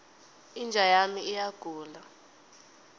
inja yami iyagula